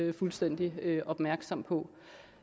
er fuldstændig opmærksom på